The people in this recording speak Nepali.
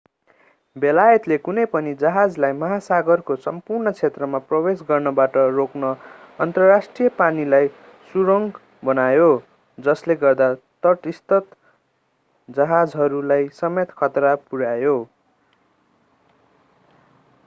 बेलायतले कुनै पनि जहाजलाई महासागरको सम्पूर्ण क्षेत्रमा प्रवेश गर्नबाट रोक्न अन्तर्राष्ट्रिय पानीलाई सुरुङ बनायो जसले गर्दा तटस्थ जहाजहरूलाई समेत खतरा पुर्यायो